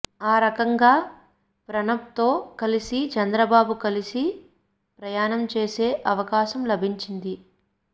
ఆ రకంగా ప్రణబ్తో కలిసి చంద్రబాబుకు కలిసి ప్రయాణం చేసే అవకాశం లభించింది